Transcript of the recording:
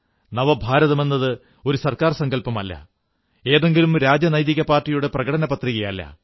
നവഭാരതമെന്നത് ഒരു സർക്കാർ സങ്കല്പമല്ല ഏതെങ്കിലും ജനാധിപത്യ പാർട്ടിയുടെ പ്രകടനപത്രികയല്ല